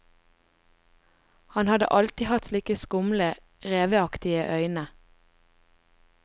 Han hadde alltid hatt slike skumle, reveaktige øyne.